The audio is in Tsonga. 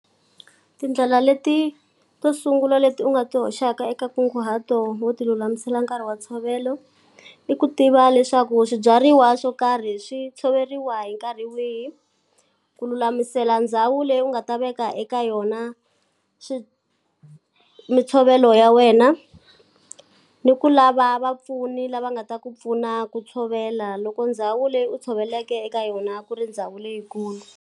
Tindlela leti to sungula leti u nga ti hoxaka eka nkunguhato wo ti lulamisela nkarhi wa ntshovelo, i ku tiva leswaku swibyariwa swo karhi swi tshoveriwa hi nkarhi wihi, ku lulamisela ndhawu leyi u nga ta veka eka yona mintshovelo ya wena. Ni ku lava vapfuni lava nga ta ku pfuna ku tshovela loko ndhawu leyi u tshoveleke eka yona ku ri ndhawu leyikulu.